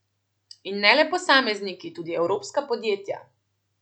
In ne le posamezniki, tudi evropska podjetja.